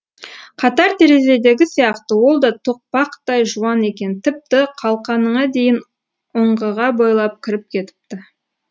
қатар терезедегі сияқты ол да тоқпақтай жуан екен тіпті қалқаныңа дейін ұңғыға бойлап кіріп кетіпті